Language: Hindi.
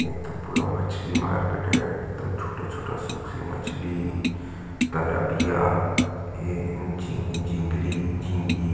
ये तो पूरा मछली मार्केट है एकदम छोटा-छोटा सुखी मछली तलबिया ये झी झिंगरी झींगी--